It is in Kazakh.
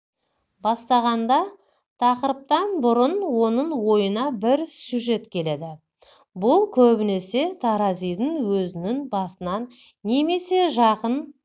бастағанда тақырыыптан бұрын оның ойына бір сюжет келеді бұл көбінесе таразидың өзінің басынан немесе жақын